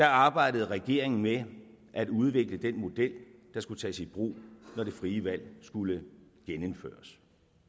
arbejdede regeringen med at udvikle den model der skulle tages i brug når det frie valg skulle genindføres